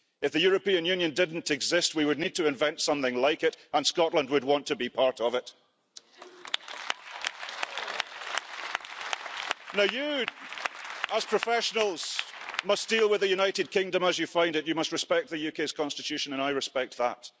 If the European Union didn't exist we would need to invent something like it, and Scotland would want to be part of it. You, as professionals, must deal with the United Kingdom as you find it. You must respect the UK's constitution, and I respect that.